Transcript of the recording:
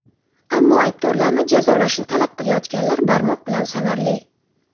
Ammo aybdorlarni jazolashni talab qilayotganlar barmoq bilan sanarli.